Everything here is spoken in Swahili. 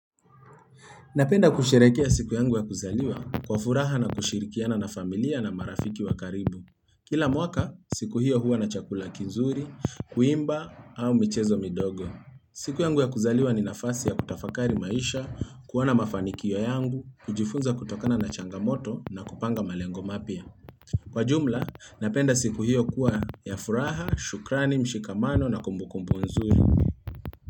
Napenda kusherehekea siku yangu ya kuzaliwa kwa furaha na kushirikiana na familia na marafiki wa karibu. Kila mwaka, siku hiyo huwa na chakula kizuri, kuimba au michezo midogo. Siku yangu ya kuzaliwa ni nafasi ya kutafakari maisha, kuona mafanikio yangu, kujifunza kutokana na changamoto na kupanga malengo mapya. Kwa jumla, napenda siku hiyo kuwa ya furaha, shukrani, mshikamano na kumbukumbu nzuri.